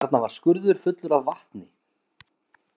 Þarna var skurður fullur af vatni.